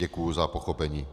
Děkuji za pochopení.